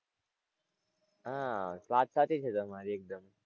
હાં વાત સાચી છે તમારી એકદમ.